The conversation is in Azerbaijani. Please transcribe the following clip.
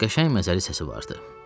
Qəşəng məzəli səsi vardı.